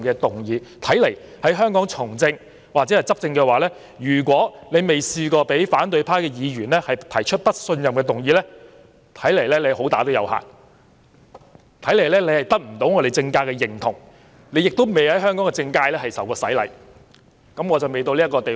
由是觀之，在香港從政或執政，如果有人從未遭反對派議員提出"不信任"議案，此人恐怕"好打有限"，不獲政界認同，亦未受過香港政界洗禮——我尚未到這個地位。